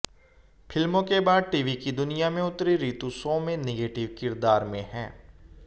फिल्मों के बाद टीवी की दुनिया में उतरीं ऋतु शो में नेगेटिव किरदार में हैं